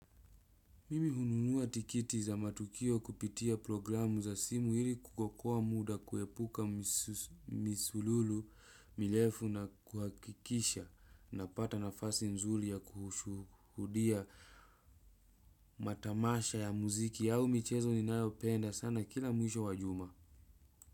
Mimi hununua tiketi za matukio kupitia programu za simu ili kuokoa muda kuepuka misululu mirefu na kuhakikisha napata nafasi nzuri ya kushuhudia matamasha ya muziki au michezo ninayopenda sana kila mwisho wa juma.